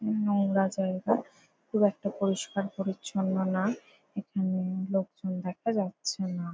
নোংরা জায়গা। খুব একটা পরিস্কার-পরিছন্ন না। এখানে লোকজন দেখা যাচ্ছে না।